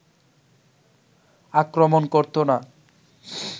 আক্রমণ করতো না